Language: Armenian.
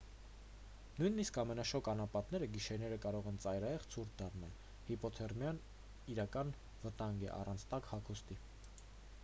նույնիսկ ամենաշոգ անապատները գիշերները կարող են ծայրահեղ ցուրտ դառնալ հիպոթերմիան իրական վտանգ է առանց տաք հագուստի